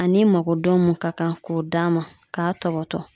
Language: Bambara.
Ani makodon mun ka kan k'o d'a ma k'a tɔbɔtɔ.